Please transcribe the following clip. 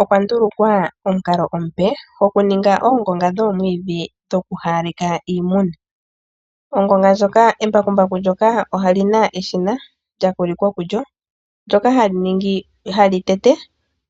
Okwandulukwa omukalo omupe gokuninga oongonga dhoomwiidhi dhokuhawaleka iimuna. Embakumbaku ndyoka olina eshina lyakwilikwa kulyo, ndyoka hali tete